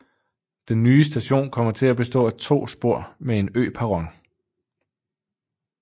Den nye station kommer til at bestå af to spor med en øperron